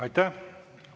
Aitäh!